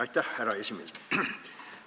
Aitäh, härra esimees!